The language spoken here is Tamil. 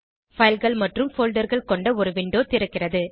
fileகள் மற்றும் folderகள் கொண்ட ஒரு விண்டோ திறக்கிறது